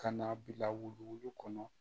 Ka na bila wuluwulu kɔnɔ